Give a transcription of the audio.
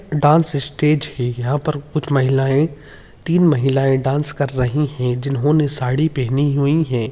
Dance stage है यहाँ पर कुछ महिलाऐं तीन महिलाऐं डान्स कर रहीं हैं जिन्होंने साड़ी पहनी हुई है।